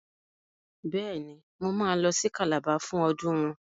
Bẹ́ẹ̀ ni, Mo máa lọ sí Calabar fún ọdún wọn.